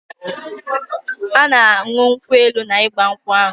Ha na anụ nkwu elu na igbankwu ahu